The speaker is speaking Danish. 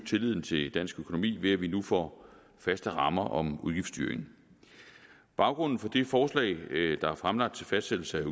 tilliden til dansk økonomi ved at vi nu får faste rammer om udgiftsstyring baggrunden for det forslag der er fremlagt til fastsættelse af